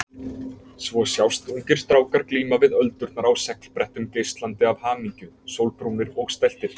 Svo sjást ungir strákar glíma við öldurnar á seglbrettum, geislandi af hamingju, sólbrúnir og stæltir.